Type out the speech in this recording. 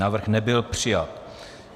Návrh nebyl přijat.